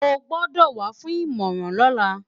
O gbọ́dọ̀ wá fún ìmọ̀ràn lọ́la!